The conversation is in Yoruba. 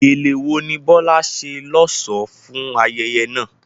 Gele wo ni Bola ṣe lọ́ṣọ̀ọ́ fún ayẹyẹ náà?